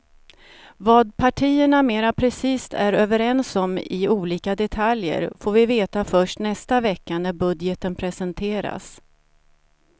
Vad partierna mera precist är överens om i olika detaljer får vi veta först nästa vecka när budgeten presenteras.